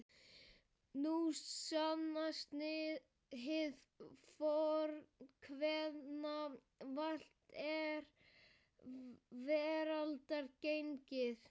Nú sannast hið fornkveðna: Valt er veraldar gengið.